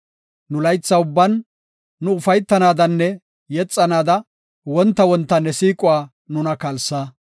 Nu laytha ubban nu ufaytanaadanne yexanaada, wonta wonta ne siiquwa nuna kalsa.